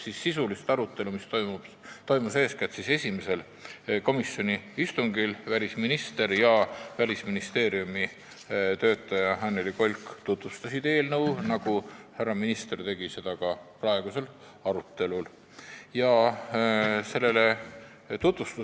Sisuline arutelu toimus eeskätt esimesel istungil, kus välisminister ja Välisministeeriumi töötaja Annely Kolk tutvustasid eelnõu, nagu härra minister tegi seda ka siin natuke aega tagasi.